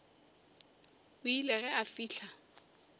o ile ge a fihla